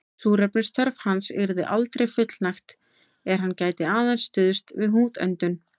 Súrefnisþörf hans yrði aldrei fullnægt er hann gæti aðeins stuðst við húðöndun.